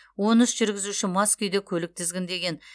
он үш жүргізуші мас күйде көлік тізгіндеген